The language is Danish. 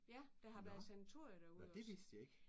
Ja. Der har været sanatorie derude også